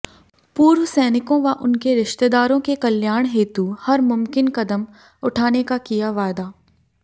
पूर्व सैनिकों व उनके रिश्तेदारों के कल्याण हेतु हर मुमकिन कदम उठाने का किया वायदा